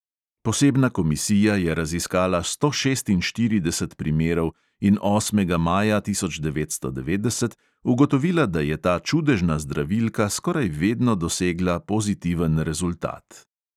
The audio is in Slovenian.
Posebna komisija je raziskala sto šestinštirideset primerov in osmega maja tisoč devetsto devetdeset ugotovila, da je ta čudežna zdravilka skoraj vedno dosegla pozitiven rezultat.